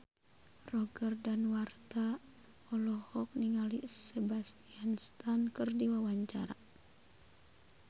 Roger Danuarta olohok ningali Sebastian Stan keur diwawancara